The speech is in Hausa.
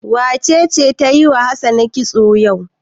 Wace ce ta yi wa Hassana kitso yau?